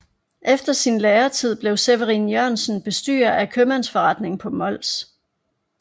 Efter sin læretid blev Severin Jørgensen bestyrer af en købmandsforretning på Mols